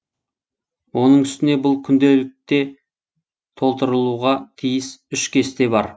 оның үстіне бұл күнделікте толтырылуға тиіс үш кесте бар